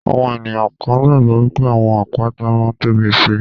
Àwọn ènìyàn kan gbàgbọ́ wípé àwọn àpáta máa ń tóbi síi.